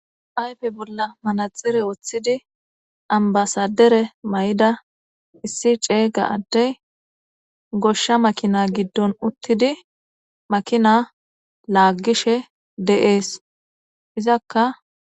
Ayife bolla manixxiree woththid annibasadere mayida issi cega adeyi goshsha makina giddonni uttidi makina lagishe de'ees.izzakka